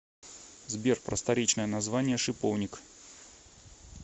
сбер просторечное название шиповник